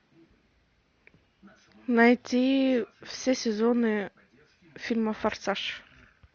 найти все сезоны фильма форсаж